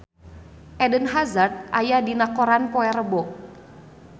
Eden Hazard aya dina koran poe Rebo